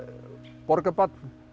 borgarbarn